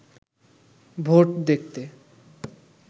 vote দেখতে